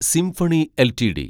symphony LTD